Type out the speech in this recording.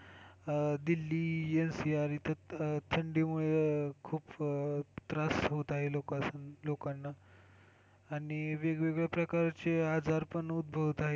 अह दिल्ली NCR इथं थंडी मुळे खूप त्रास होत आहे लोकांना आणि वेगवेगळ्या प्रकारचे आजारपण उद्भवत आहेत.